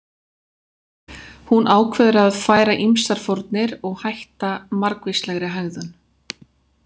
Hún ákveður að færa ýmsar fórnir og hætta margvíslegri hegðun.